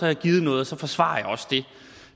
jeg givet noget og så forsvarer jeg også det